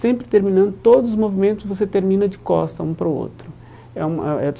sempre terminando todos os movimentos, você termina de costas, um para o outro. É um eh eh eh